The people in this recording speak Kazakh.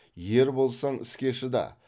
ер болсаң іске шыда